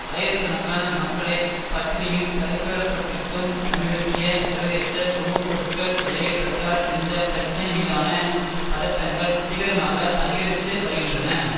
ஆயிரக்கணக்கான மக்களை பட்டினியில் தவிக்கவிட்டிருக்கும் சமீபத்திய சர்வதேச உணவு பொருட்கள் விலையேற்றத்தால் இந்த பிரச்சனை மீதான பதட்டங்கள் தீவிரமாக அதிகரித்து வருகின்றன